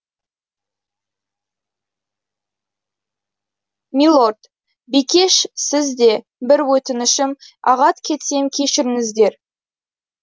милорд бикеш сіз де бір өтінішім ағат кетсем кешіріңіздер